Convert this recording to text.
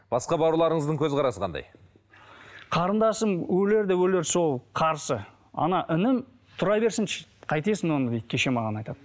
басқа бауырларыңыздың көзқарсы қандай қарындасым өлер де өлер сол қарсы інім тұра берсінші қайтесің оны дейді кеше маған айтады